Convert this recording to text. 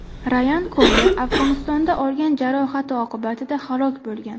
Rayan Koyer Afg‘onistonda olgan jarohati oqibatida halok bo‘lgan.